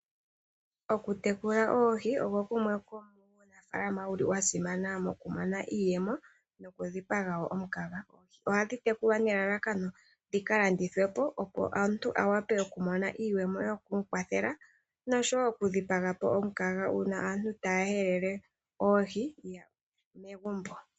Oku tekula oohi ogwo gumwe guli omukalo gwasimana moku mona iiyemo noku dhipaga po omukaga. Ohadhi tekulwa nelalakano dhi ka landithwe po opo omuntu awape oku iiyemo yoku mu kwathela nosho wo oku dhipaga po omukaga uuna aantu taya helele Oohi megumbo.